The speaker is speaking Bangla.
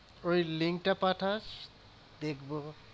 ওই link টা পাঠাস দেখবো।